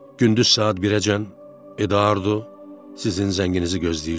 Gündüz saat 1-əcən Edvardo sizin zənginizi gözləyirdi.